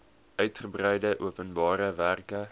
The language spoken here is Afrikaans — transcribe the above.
uigebreide openbare werke